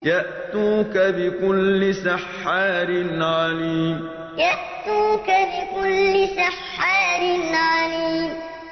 يَأْتُوكَ بِكُلِّ سَحَّارٍ عَلِيمٍ يَأْتُوكَ بِكُلِّ سَحَّارٍ عَلِيمٍ